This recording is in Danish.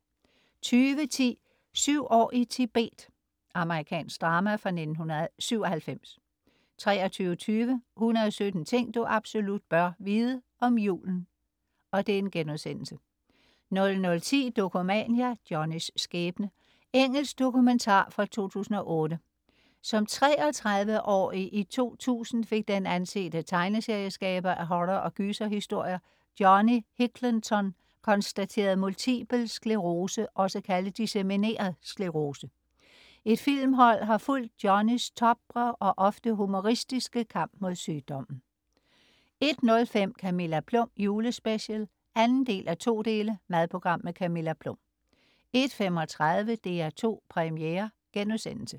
20.10 Syv år i Tibet. Amerikansk drama fra 1997 23.20 117 ting du absolut bør vide. Om julen* 00.10 Dokumania: Johnnys skæbne. Engelsk dokumentar fra 2008. Som 33-årig i 2000 fik den ansete tegneserieskaber af horror- og gyserhistorier, Johnny Hicklenton konstateret multipel sklerose også kaldet dissemineret sklerose. Et filmhold har fulgt Johnnys tapre og ofte humoristiske kamp mod sygdommen 01.05 Camilla Plum julespecial 2:2. Madprogram. Camilla Plum 01.35 DR2 Premiere*